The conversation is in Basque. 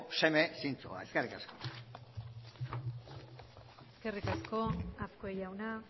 seme zintzoa eskerrik asko eskerrik asko azkue jauna